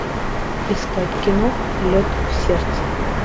искать кино лед в сердце